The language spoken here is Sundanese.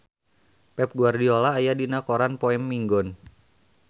Pep Guardiola aya dina koran poe Minggon